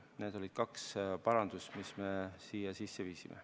Need olid kaks parandust, mis me siia sisse viisime.